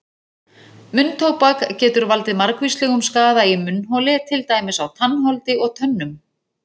Munntóbak getur valdið margvíslegum skaða í munnholi til dæmis á tannholdi og tönnum.